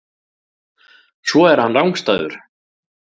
Svo er hann rangstæður.